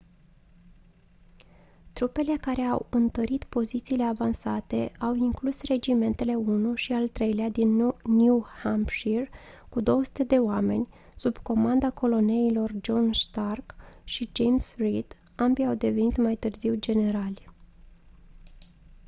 trupele care au întărit pozițiile avansate au inclus regimentele 1 și al 3 din new hampshire cu 200 de oameni sub comanda coloneilor john stark și james reed ambii au devenit mai târziu generali